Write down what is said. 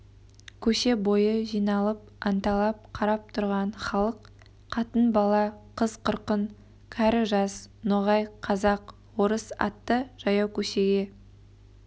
көше бойы жиналып анталап қарап тұрған халық қатын бала қыз-қырқын кәрі жас ноғай қазақ орыс атты жаяу көшеге